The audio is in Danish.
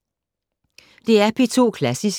DR P2 Klassisk